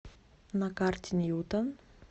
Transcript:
на карте ньютон